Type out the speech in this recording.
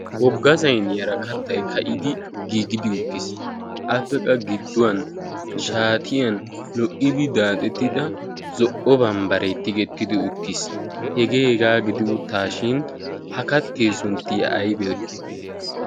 woggasain yara kattai ka'idi giigidi uttiis appeqa gidduwan shaatiyan lo''idi daaxettida zo''o ban bare tigettidi uttiis hegee egaa gidi uttaashin ha kattee suntti a aybe